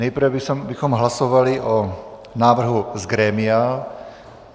Nejprve bychom hlasovali o návrhu z grémia.